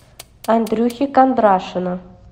андрюхи кондрашина